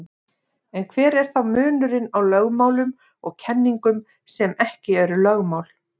En hver er þá munurinn á lögmálum og kenningum sem ekki eru lögmál?